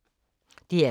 DR K